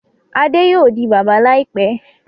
Adé yóò di bàbá láìpẹ́.